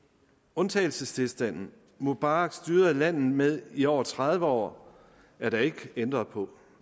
undtagelsestilstanden mubarak styrede landet med i over tredive år er der ikke ændret på